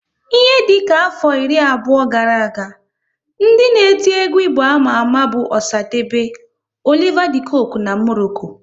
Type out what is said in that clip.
Ihe dịka afọ iri abụọ gara aga, ndị na-eti egwu Igbo ama ama bụ Osadebe, Oliver De coque na Morocco